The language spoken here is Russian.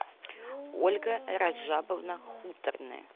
ольга раджабовна хуторная